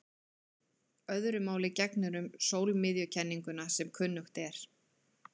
Öðru máli gegnir um sólmiðjukenninguna sem kunnugt er.